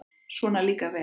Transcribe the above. Svona líka vel!